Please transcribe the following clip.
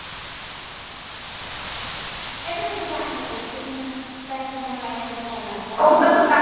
ਇਥੇ ਤਾਂ ਦੁਕਾਨ ਤੇ ਦੇਖੇ ਨੀ ਮੈਂ। ਸਪੈਸ਼ਲ ਮੰਗਾਣੇ ਹੋਣ ਤਾਂ ਅਲਗ ਗੱਲ ਆ।